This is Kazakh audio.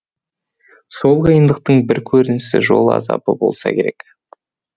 сол қиындықтың бір көрінісі жол азабы болса керек